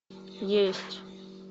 есть